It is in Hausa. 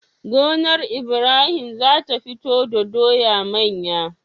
Gonar Ibrahim zata fito do doya manya